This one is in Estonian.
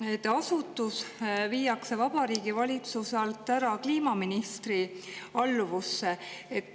Jääb mulje, et asutus viiakse Vabariigi Valitsuse alt ära kliimaministri alluvusse.